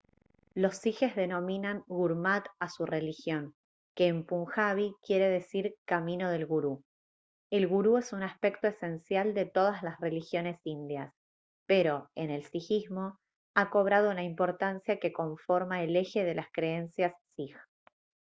los sijes denominan gurmat a su religión que en punjabi quiere decir «camino del gurú». el gurú es un aspecto esencial de todas las religiones indias pero en el sijismo ha cobrado una importancia que conforma el eje de las creencias sij